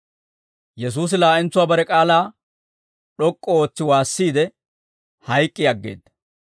Yesuusi laa'entsuwaa bare k'aalaa d'ok'k'u ootsi waassiide, hayk'k'i aggeedda.